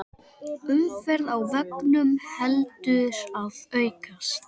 Umferð á vegum heldur að aukast